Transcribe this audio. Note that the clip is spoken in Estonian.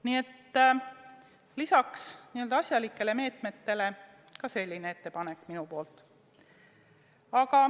Nii et lisaks n-ö asjalikele meetmetele ka selline ettepanek minu poolt.